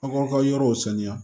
Aw k'aw ka yɔrɔw saniya